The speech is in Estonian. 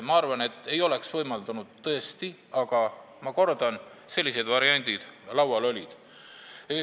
Ma arvan, et põhiseadus ei oleks seda tõesti võimaldanud, aga ma kordan, et sellised variandid laual olid.